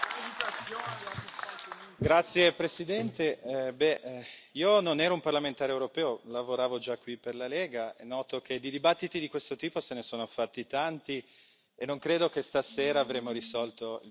Signor Presidente, onorevoli colleghi, io non ero un parlamentare europeo, lavoravo già qui per la Lega e noto che di dibattiti di questo tipo se ne sono fatti tanti e non credo che stasera avremo risolto il problema.